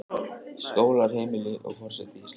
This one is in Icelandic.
Skólar, heimili, og forseti Íslands.